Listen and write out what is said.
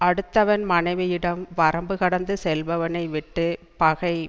அடுத்தவன் மனைவியிடம் வரம்பு கடந்து செல்பவனை விட்டு பகை